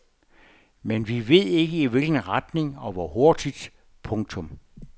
Men vi ved ikke i hvilken retning og hvor hurtigt. punktum